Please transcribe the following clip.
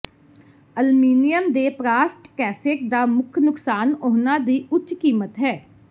aluminium ਦੇ ਪ੍ਰਾਸਟ cassette ਦਾ ਮੁੱਖ ਨੁਕਸਾਨ ਉਹਨਾਂ ਦੀ ਉੱਚ ਕੀਮਤ ਹੈ